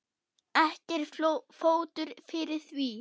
Ekki er fótur fyrir því.